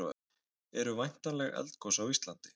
eru væntanleg eldgos á íslandi